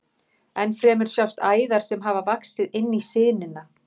Enn fremur sjást æðar sem hafa vaxið inn í sinina.